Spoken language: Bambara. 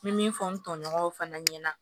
N bɛ min fɔ n tɔɲɔgɔnw fana ɲɛna